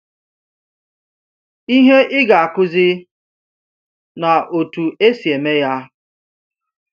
Ihe ị ga-akụzi na otu esi eme ya.